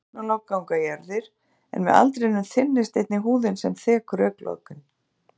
Þunn augnlok ganga í erfðir en með aldrinum þynnist einnig húðin sem þekur augnlokin.